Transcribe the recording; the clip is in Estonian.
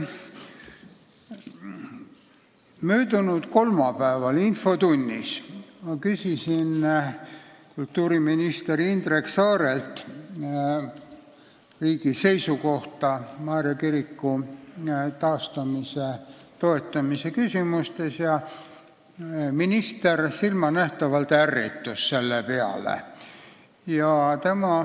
Möödunud kolmapäeva infotunnis ma küsisin kultuuriminister Indrek Saarelt riigi seisukohta Maarja kiriku taastamise toetamise kohta ja minister silmanähtavalt ärritus selle peale.